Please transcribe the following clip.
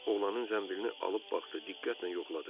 Oğlanın zənbilini alıb baxdı, diqqətlə yoxladı.